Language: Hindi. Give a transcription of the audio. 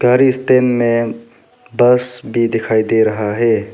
और स्टैंड में बस भी दिखाई दे रहा है।